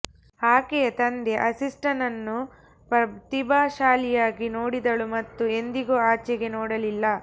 ಆಕೆಯ ತಂದೆ ಆಸ್ಟಿನ್ನನ್ನು ಪ್ರತಿಭಾಶಾಲಿಯಾಗಿ ನೋಡಿದಳು ಮತ್ತು ಎಂದಿಗೂ ಆಚೆಗೆ ನೋಡಲಿಲ್ಲ